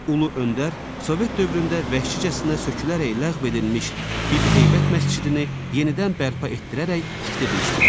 Ulu Öndər sovet dövründə vəhşicəsinə sökülərək ləğv edilmiş Bibiheybət məscidini yenidən bərpa etdirərək tikdirmişdir.